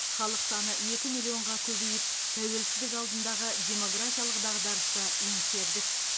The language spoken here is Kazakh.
халық саны екі миллионға көбейіп тәуелсіздік алдындағы демографиялық дағдарысты еңсердік